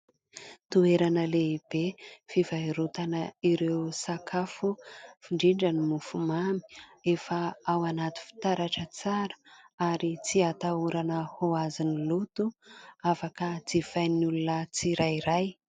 Toerana lehibe fivarotana ireo sakafo indrindra ny mofomamy. Efa ao anaty fitaratra tsara ary tsy atahorana ho azon'ny loto, afaka jifain'ny olona tsirairay.